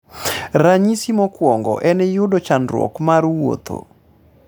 ranyisi mokwongo en yudo chandruok mar wuotho